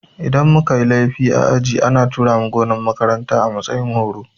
Idan muka yi laifi a aji ana tura mu gonan makarantar a matsayin horo